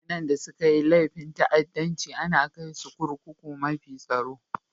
Mutane da sun yi laifin ta'addancci ana kai su kurkukun mafi tsaro.